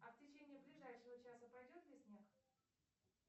а в течение ближайшего часа пойдет ли снег